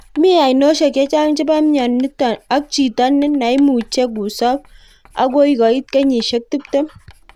mii ainosiek chechang chepo mionitok ak chito naimuche kusop agoi koit kenyisiek 20